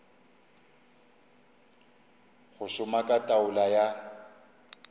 go šoma ka taolo ya